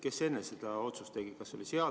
Kes enne selle otsuse tegi?